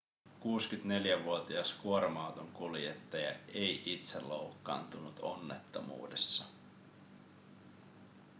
64-vuotias kuorma-auton kuljettaja ei itse loukkaantunut onnettomuudessa